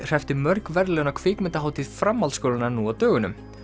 hreppti mörg verðlaun á kvikmyndahátíð framhaldsskólanna nú á dögunum